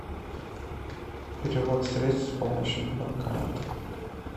перевод средств с помощью банкомата